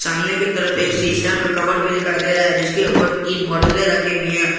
सामने की तरफ एक शीशा का कबर्ड भी दिखाई दे रहा है जिसके ऊपर तीन बोटले रखे हुई हैं।